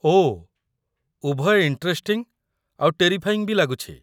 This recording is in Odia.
ଓଃ, ଉଭୟ ଇଣ୍ଟରେଷ୍ଟିଂ ଆଉ ଟେରିଫାଇଂ ବି ଲାଗୁଛି ।